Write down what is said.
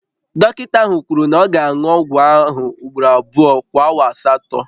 Dọkịta ahụ kwuru na ọ ga-aṅụ ọgwụ ahụ ugboro abụọ kwa awa asatọ